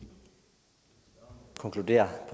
er